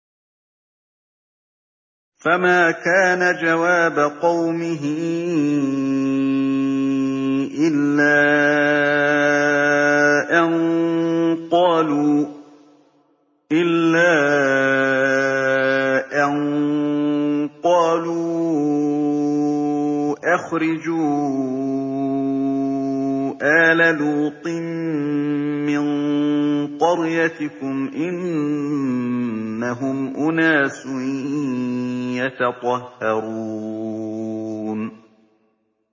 ۞ فَمَا كَانَ جَوَابَ قَوْمِهِ إِلَّا أَن قَالُوا أَخْرِجُوا آلَ لُوطٍ مِّن قَرْيَتِكُمْ ۖ إِنَّهُمْ أُنَاسٌ يَتَطَهَّرُونَ